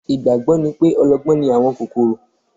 Ìgbàgbọ́ ni pé ọlọ́gbọ́n ni àwọn kòkòrò